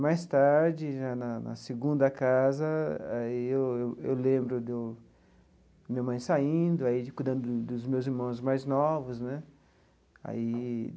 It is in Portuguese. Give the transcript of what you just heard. Mais tarde já, na na segunda casa, aí eu eu eu lembro do minha mãe saindo, aí cuidando dos dos meus irmãos mais novos né aí.